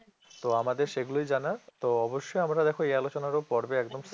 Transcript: তো আমাদের সেইগুলোই জানা তো অবশ্যই আমরা দেখো এই আলোচনারও পর্বে একদম